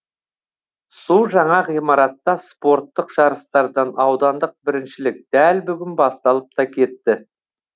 су жаңа ғимаратта спорттық жарыстардан аудандық біріншілік дәл бүгін басталып та кетті